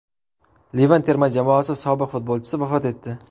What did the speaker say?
Livan terma jamoasi sobiq futbolchisi vafot etdi.